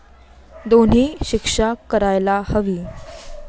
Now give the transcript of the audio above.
दोन्ही शिक्षा करायला हवी.